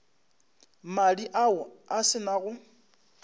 madi ao a se nago